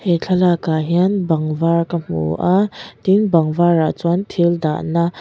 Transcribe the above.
thlalakah hian bang var ka hmu a tin bang varah chuan thil dahna.